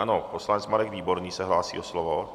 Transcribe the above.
Ano, poslanec Marek Výborný se hlásí o slovo.